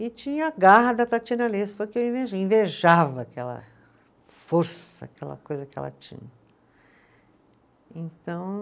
E tinha a garra da Tatiana Alesso, que eu invejei, invejava aquela força, aquela coisa que ela tinha. Então